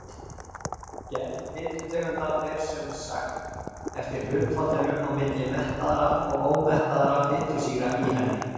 Gerð fitutegunda fer sem sagt eftir hlutfallinu á milli mettaðra og ómettaðra fitusýra í henni.